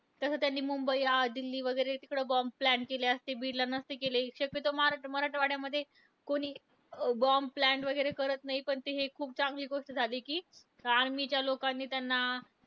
pluto पासून सुरू असलेल्या पाश्चात परंपरेत मनाच्या वृत्ती तीन प्रकारच्या मांडलेल्या आहेत बदस्वरूप वेदनावक वासनात्मक योगाचे वर्गीकरण याहून भिन्न आहे.